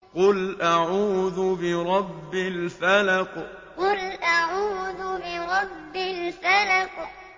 قُلْ أَعُوذُ بِرَبِّ الْفَلَقِ قُلْ أَعُوذُ بِرَبِّ الْفَلَقِ